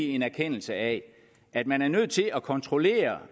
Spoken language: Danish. en erkendelse af at man er nødt til at kontrollere